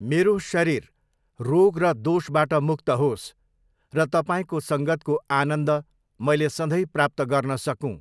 मेरो शरीर रोग र दोषबाट मुक्त होस् र तपाईँको सङ्गतको आनन्द मैले सधैँ प्राप्त गर्न सकूँ!